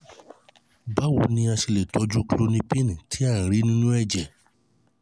báwo ni a ṣe lè tọju klonipin tí a rí nínú ẹ̀jẹ̀?